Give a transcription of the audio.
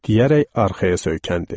Deyərək arxaya söykəndi.